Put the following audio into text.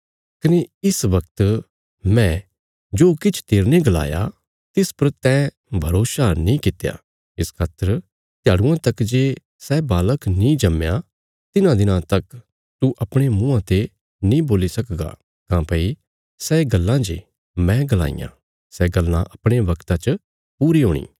कने इस बगत मैं जो किछ तेरने गलाया तिस पर तैं भरोसा नीं कित्या इस खातर त्याड़ुआं तक जे सै बालक नीं जम्मया तिन्हां दिनां तक तू अपणे मुँआं ते नीं बोल्ली सकगा काँह्भई सै गल्लां जे मैं गलाईयां सै गल्लां अपणे बगता च पूरी हूणी